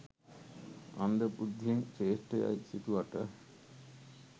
අන්ධ බුද්ධියෙන් ශ්‍රේෂ්ඨ යයි හිතුවට